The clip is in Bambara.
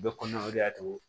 U bɛ koɲuman togo